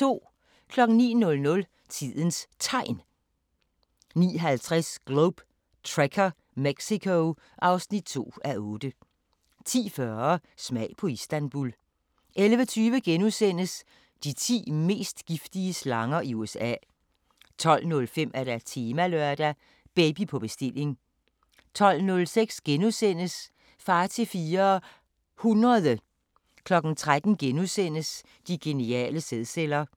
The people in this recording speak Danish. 09:00: Tidens Tegn 09:50: Globe Trekker - Mexico (2:8) 10:40: Smag på Istanbul 11:20: De ti mest giftige slanger i USA * 12:05: Temalørdag: Baby på bestilling 12:06: Far til fire...hundrede * 13:00: De geniale sædceller *